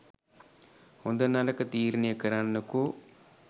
හොඳ නරක තීරණය කරන්නකෝ